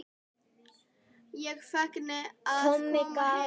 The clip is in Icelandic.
Feginn að koma heim.